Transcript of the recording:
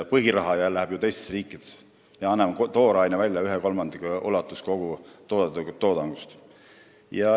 Põhiraha läheb ju teistesse riikidesse, kui me anname kogu toodangust ühe kolmandiku välja toorainena.